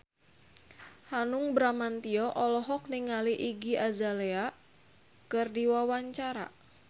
Hanung Bramantyo olohok ningali Iggy Azalea keur diwawancara